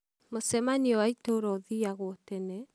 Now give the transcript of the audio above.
mũcemanĩo wa itũũra ũthiagwo tene?